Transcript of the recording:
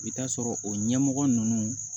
I bi taa sɔrɔ o ɲɛmɔgɔ nunnu